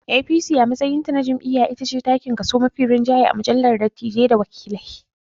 APC a matsayinta na jam'iyya itace takin kaso mafi rinjaye a majalissar dattijai data wakilai.